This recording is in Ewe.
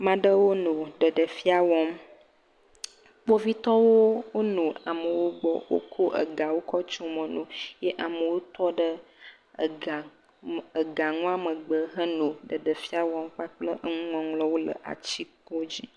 Ame aɖewo nɔ ɖeɖefia wɔm, kpovitɔwo nɔ amewo gbɔ eye wokɔ egawo kɔ tso mɔ na wo, ye amewo tɔ ɖe ega nua megbe henɔ ɖeɖefia wɔm kpakple enuŋɔŋlɔwo le atikpo dzi.